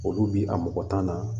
Olu bi a mɔgɔ tan na